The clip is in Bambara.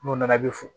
N'u nana i bɛ fo